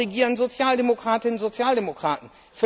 Dort regieren Sozialdemokratinnen und Sozialdemokraten.